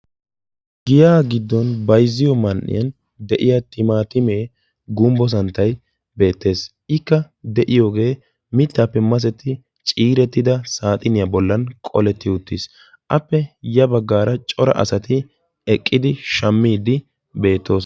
giyaa giddon baizziyo man"iyan de'iya timaatimee gumbbo santtai beettees ikka de'iyoogee mittaappe masetti ciirettida saaxiniyaa bollan qoletti uttiis appe ya baggaara cora asati eqqidi shammiiddi beettoos.